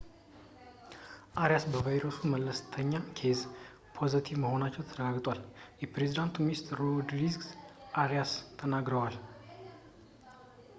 አሪያስ በቫይረሱ መለስተኛ ኬዝ ፖዘቲቭ መሆናቸው ተረጋግጧል የፕሬዝዳንቱ ሚኒስትር ሮድሪጎ አሪያስ ተናግረዋል